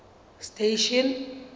station